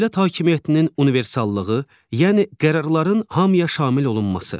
Dövlət hakimiyyətinin universallığı, yəni qərarların hamıya şamil olunması.